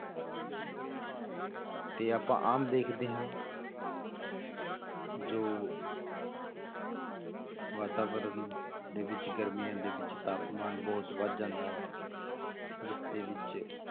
ਤੇ ਆਪਾਂ ਆਮ ਦੇਖਦੇ ਹਾਂ ਜੋ ਵਾਤਾਵਰਨ ਦੇ ਵਿੱਚ ਗਰਮੀਆਂ ਦੇ ਵਿੱਚ ਤਾਪਮਾਨ ਬਹੁਤ ਵੱਧ ਜਾਂਦਾ ਹੈ, ਜਿਸਦੇ ਵਿੱਚ